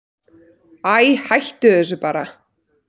Æi, hættu þessu bara.